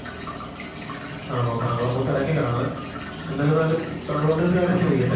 ആണോ താങ്കളേപ്പോ തെരക്കിലാണ്‌ എന്തിരുന്നാലും താങ്കളോടൊരു കാര്യം ചോയിക്കട്ടെ